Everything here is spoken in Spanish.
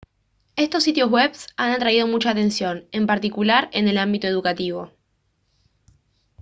estos sitios web han atraído mucha atención en particular en el ámbito educativo